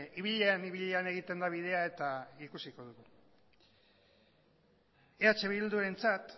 ibilean ibilean egiten da bidea eta ikusiko dugu eh bildurentzat